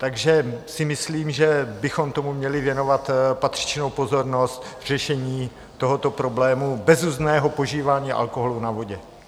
Takže si myslím, že bychom tomu měli věnovat patřičnou pozornost v řešení tohoto problému, bezuzdného požívání alkoholu na vodě.